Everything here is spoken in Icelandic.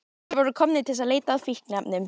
Þeir voru komnir til að leita að fíkniefnum.